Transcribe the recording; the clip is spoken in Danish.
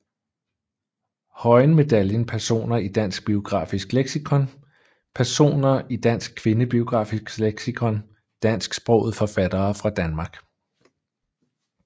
Høyen Medaljen Personer i Dansk Biografisk Leksikon Personer i Dansk Kvindebiografisk Leksikon Dansksprogede forfattere fra Danmark